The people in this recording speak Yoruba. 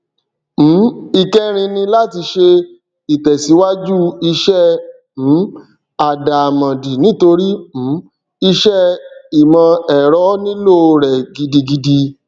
um ìkẹrin ni láti ṣe ìtẹsíwájú iṣẹ um àdàmòdì nítorí um iṣẹ ìmọ ẹrọ nílò rẹ gidigidi